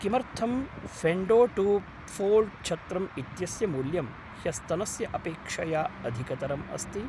किमर्थं Fendo two fold छत्रम् इत्यस्य मूल्यं ह्यस्तनस्य अपेक्षया अधिकतरम् अस्ति?